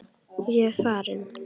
Ég er farinn